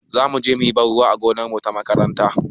Zamu je muyi ban ruwa a gonarmu ta makaranta